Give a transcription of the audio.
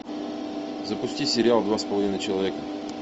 запусти сериал два с половиной человека